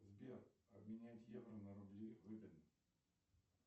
сбер обменять евро на рубли выгодно